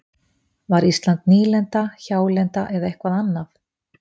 Var Ísland nýlenda, hjálenda eða eitthvað annað?